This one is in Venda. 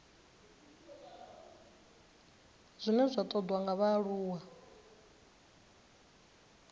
zwine zwa ṱoḓwa nga vhaaluwa